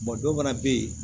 dɔw fana bɛ yen